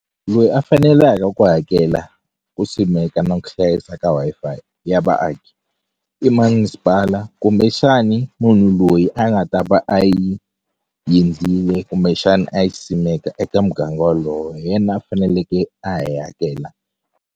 Loyi a faneleke ku hakela ku simeka na ku hlayisa ka Wi-Fi ya vaaki i masipala kumbexani munhu loyi a nga ta va a yi yendlile kumbexani a yi simeka eka muganga wolowo hi yena a faneleke a yi hakela.